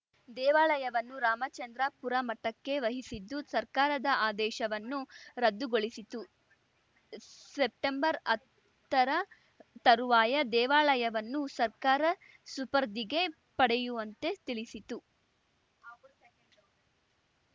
ದೇವಾಲಯವನ್ನು ರಾಮಚಂದ್ರಾಪುರ ಮಠಕ್ಕೆ ವಹಿಸಿದ್ದು ಸರ್ಕಾರದ ಆದೇಶವನ್ನು ರದ್ದುಗೊಳಿಸಿತ್ತು ಸೆಪ್ಟೆಂಬರ್ಹತ್ತರ ತರುವಾಯ ದೇವಾಲಯವನ್ನು ಸರ್ಕಾರ ಸುಪರ್ದಿಗೆ ಪಡೆಯುವಂತೆ ತಿಳಿಸಿತು